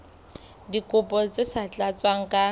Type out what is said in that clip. dikopo tse sa tlatswang ka